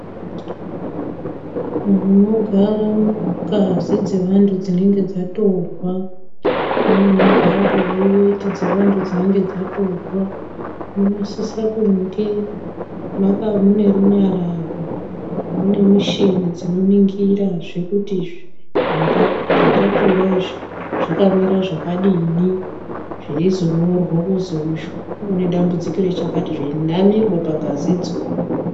Munogara ngazi dzevantu dzinenge dzatorwa. Nemunogara dai iweti dzevantu dzinenge dzatorwa munosise kunge maka mune runyararo. Mune muchini dzinoningirazve kuti zvatotora izvi zvakamira zvakadini. Zveizonyorwa kuzi uyu une dambudziko rechakati. Zveinamirwa pangazi dzo.